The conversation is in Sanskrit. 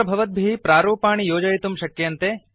अत्र भवद्भिः प्रारूपाणि योजयितुं शक्यन्ते